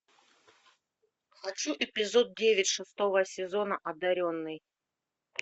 хочу эпизод девять шестого сезона одаренный